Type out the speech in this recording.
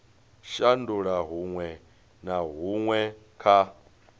shandula huṅwe na huṅwe kha